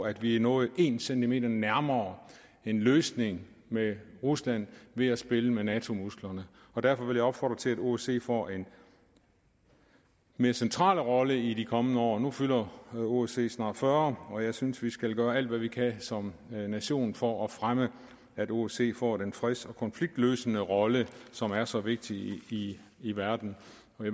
at vi er nået en centimeter nærmere en løsning med rusland ved at spille med nato musklerne derfor vil jeg opfordre til at osce får en mere central rolle i de kommende år nu fylder osce snart fyrre år og jeg synes vi skal gøre alt hvad vi kan som nation for at fremme at osce får den freds og konfliktløsende rolle som er så vigtig i i verden